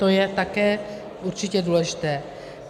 To je také určitě důležité.